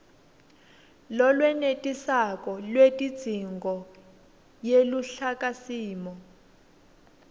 lolwenetisako lwetidzingo yeluhlakasimo